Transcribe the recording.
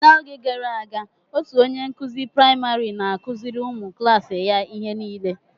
Na-oge gara aga otú onye nkuzi praịmarị n'akụziri ụmụ klaasi ya ihe nile.